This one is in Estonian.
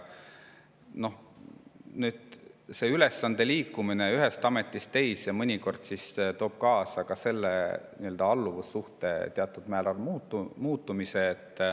Nüüd, ülesande liikumine ühest ametist teise mõnikord toob kaasa ka alluvussuhte teatud määral muutumise.